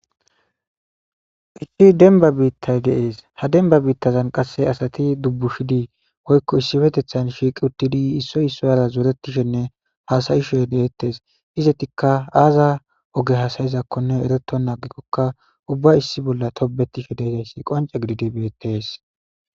Isti denba biittay deees ha denba biittazan qasse asati dubbushidii woykko issifetethan shiiqi uttidi issoy isso yara zoretishenne haasayishedeettes izatikka aaza oge hasayizakkonne ereto naagikokka ubba issi bolla tobetishe deidayssi qonce gididi beettes.